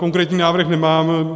Konkrétní návrh nemám.